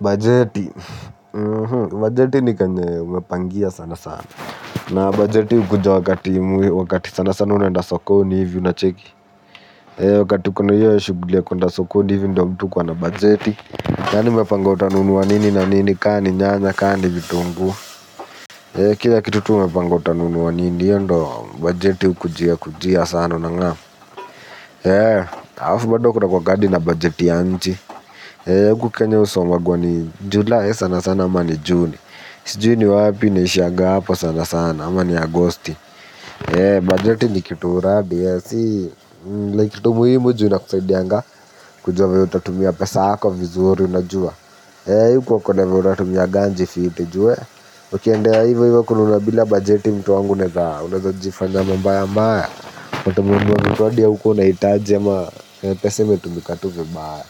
Bajeti. Bajeti ni kenye umepangia sana sana. Na bajeti ukuja wakati wakati sana sana unaenda sokoni hivyo unacheki. Wakati kuna hiyo ya shuguli ya kuenda sokoni hivyo ndo mtu ukuwa na bajeti. Yani umepanga utanunua nini na nini ka ni nyanya ka ni vitungu. Kila kitu tu umepanga utanunua nini iyo ndo bajeti ukujia kujia sana unang'amu. Alafu bado kunakuwanga na bajeti ya nchi. Eee uku kenya usomagwa ni july sana sana ama ni juni. Sijui ni wapi inaishiaga hapo sana sana ama ni agosti. Eee budget ni kitu uradi ya si Like kitu muhimu ju inakusaidianga. Kujua vye utatumia pesa yako vizuri unajua. Eee huku wakone vya utatumia ganji ifi itijue ukiendea ivoivo kununua bila bajeti. Pesa imetumika tu vibaya